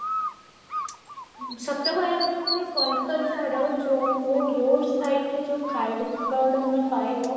ସତ କହିବା ପାଇଁ ଗଲେ କଲକାତାର ଯୋଉ ଓ road side ରେ ଯାଉ ଖାଇବା ଗୁଡାକ ତମେ ପାଇବ